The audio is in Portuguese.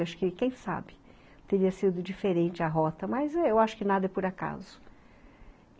Acho que quem sabe teria sido diferente a rota, mas eu acho que nada é por acaso.